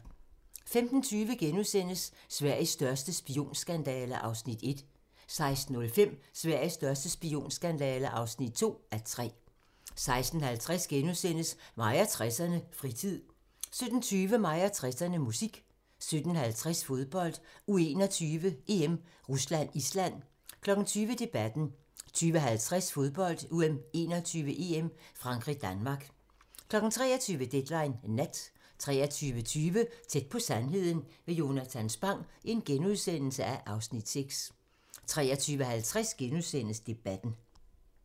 15:20: Sveriges største spionskandale (1:3)* 16:05: Sveriges største spionskandale (2:3) 16:50: Mig og 60'erne: Fritid * 17:20: Mig og 60'erne: Musik 17:50: Fodbold: U21-EM - Rusland-Island 20:00: Debatten 20:50: Fodbold: U21-EM - Frankrig-Danmark 23:00: Deadline Nat 23:20: Tæt på sandheden med Jonatan Spang (Afs. 6)* 23:50: Debatten *